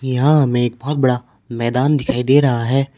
यहां हमें एक बहुत बड़ा मैदान दिखाई दे रहा है।